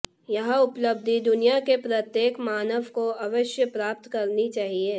यह उपलब्धि दुनिया के प्रत्येक मानव को अवश्य प्राप्त करनी चाहिए